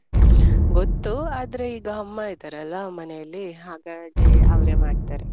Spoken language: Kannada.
ಗೊತ್ತು ಆದ್ರೆ ಈಗ ಅಮ್ಮ ಇದಾರಲ್ಲ ಮನೇಲಿ ಹಾಗಾಗಿ ಅವರೇ ಮಾಡ್ತಾರೆ